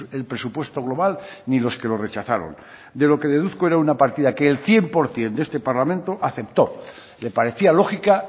el presupuesto global ni los que lo rechazaron de lo que deduzco era una partida que el cien por ciento de este parlamento aceptó le parecía lógica